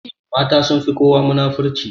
Mata sunfi kowa munafurci.